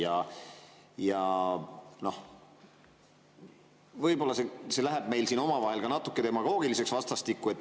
Võib-olla see läheb meil siin omavahel vastastikku ka natuke demagoogiliseks.